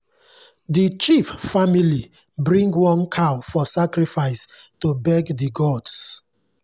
the chief family bring one cow for sacrifice to beg the gods.